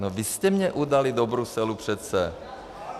No vy jste mě udali do Bruselu, přece.